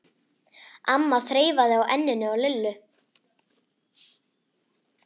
amma þreifaði á enninu á Lillu.